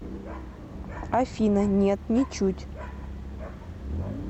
афина нет ничуть